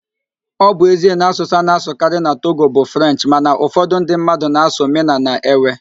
Ọ bụ ezie na asụsụ a na-asụkarị na Togo bụ Frenchị mana ụfọdụ​ ndị mmadụ na-asụ Mịna na Ewe